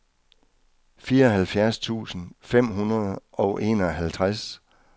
fireoghalvfjerds tusind fem hundrede og enoghalvtreds